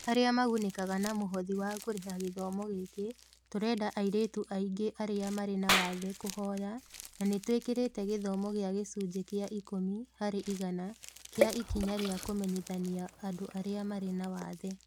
Arĩa magunĩkaga na mũhothi wa kũrĩha gĩthomo gĩkĩ, tũreda airĩtu aingĩ arĩa marĩ na wathe kũhoya, na nĩ twĩkĩrĩte gĩthomo gĩa gĩcunjĩ kĩa ikũmi harĩ igana kĩa ikinya rĩa kũmenyithania andũ arĩa marĩ na wathe.